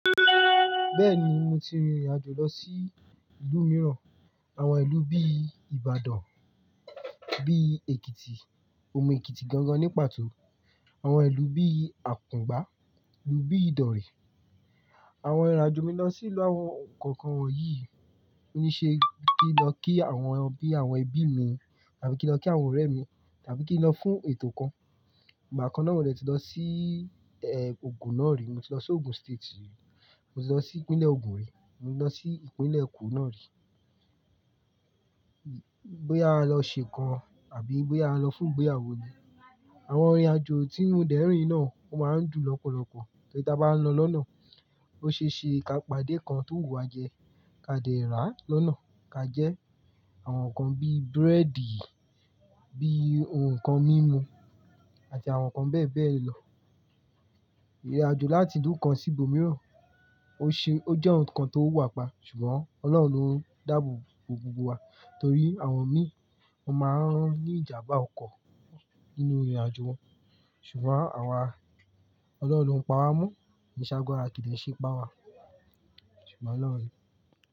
Bẹ́ẹ̀ni mo ti rìnrìn àjò lọ sí ìlú mìíràn, àwọn ìlú bí Ìbàdàn, bí Èkìtì, omu Èkìtì gangan ní pàtó, àwọn ìlú bí Àkùngbá, ìlú bí Ìdòrè. Àwọn ìrìn àjò mi lọ sí ìlú àwọn nǹko kan wan yí ni ṣe kí n lọ kí àwọn ẹbí mi tàbí kí n lọ kí àwọn ọ̀rẹ́ mi tàbí kí n lọ fún ètò kan. Ìgbà kan náà mo de ti lọ sí e ògùn náà rí, mo ti lọ sí Ògùn State, mo ti lọ sí ìpínlẹ̀ ògùn rí, mo ti lọ sí ìpínlẹ̀ Èkó náà rí. Bóyá a lọ ṣe n kan àbí bóyá a lọ fún ìgbéyàwó ni. Àwọn ìrìn àjò tí mo dẹ́rìn náà ó máa ń dùn lọ́pọ̀lọpọ̀ torí tí a bá lọ lọ́nà, ó ṣe é ṣe ká pàdé nkan tó wùwà jẹ, ká dẹ́ra lọ́nà, ká jẹ àwọn nǹkan bí búrẹ́dì, bí ohun kan mímu àti àwọn nǹkan bẹ́ẹ̀ bẹ́ẹ̀ lọ. Rìnrìn àjò láti ìlú kan sí ìbo mìíràn ó ṣe ó jẹ́ ohun kan tó wà pa ṣùgbọ́n Ọlọ́run ló ń dáàbò bo gbogbo wa torí àwọn mi wọ́n máa ń ní ìjàmbá ọkọ̀ nínú ìrìn àjò wọn ṣùgbọ́n àwa Ọlọ́run ló ń pa wá mọ́, kí ṣáágbara wa kìndè ṣe ipa wa. Ṣùgbọ́n Ọlọ́run rí.